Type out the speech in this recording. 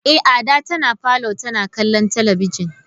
Eh Ada tana parlour tana kallon talabijin.